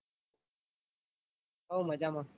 હઓ મજામાં.